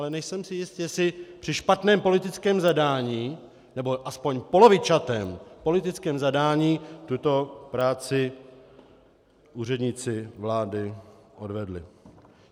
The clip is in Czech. Ale nejsem si jist, jestli při špatném politickém zadání nebo alespoň polovičatém politickém zadání tuto práci úředníci vlády odvedli.